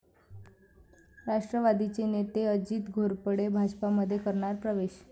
राष्ट्रवादीचे नेते अजित घोरपडे भाजपमध्ये करणार प्रवेश